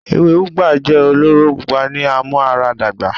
Ewe Ugba jẹ ọlọrọ pupọ ni amuaradagba